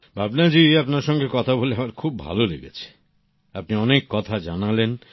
ভাবনা জি আপনার সঙ্গে কথা বলে আমার খুব ভালো লেগেছে আপনি অনেক কথা জানালেন